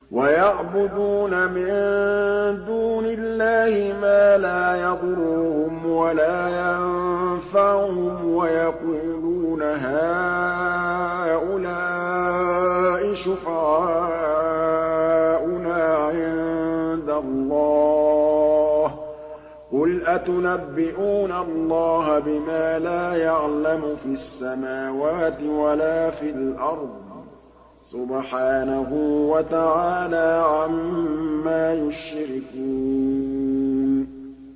وَيَعْبُدُونَ مِن دُونِ اللَّهِ مَا لَا يَضُرُّهُمْ وَلَا يَنفَعُهُمْ وَيَقُولُونَ هَٰؤُلَاءِ شُفَعَاؤُنَا عِندَ اللَّهِ ۚ قُلْ أَتُنَبِّئُونَ اللَّهَ بِمَا لَا يَعْلَمُ فِي السَّمَاوَاتِ وَلَا فِي الْأَرْضِ ۚ سُبْحَانَهُ وَتَعَالَىٰ عَمَّا يُشْرِكُونَ